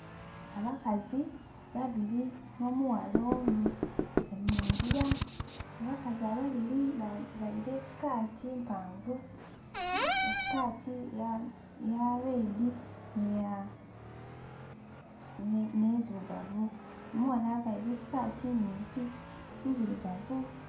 Abakazi babiri n'omughala mulala nga bali mu ngira abakazi ababiri bavaile sikaati mpanvu sikaati eya lwedi n'endirugavu, omwana availe sikaati nhimpi ndirugavu.